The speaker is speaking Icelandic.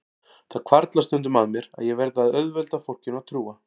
Það hvarflar stundum að mér að ég verði að auðvelda fólkinu að trúa